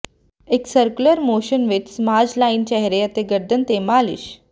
ਇੱਕ circular motion ਵਿਚ massage line ਚਿਹਰੇ ਅਤੇ ਗਰਦਨ ਤੇ ਮਾਲਿਸ਼